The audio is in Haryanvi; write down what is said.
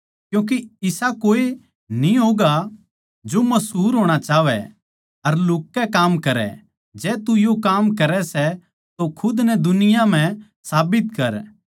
क्यूँके इसा कोए न्ही होगा जो मशहुर होणा चाहवै अर लुह्क कै काम करै जै तू यो काम करै सै तो खुद नै दुनिया म्ह साबित कर